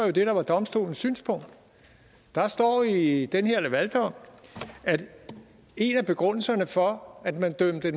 det der var domstolens synspunkt der står i den her lavaldom at en af begrundelserne for at man dømte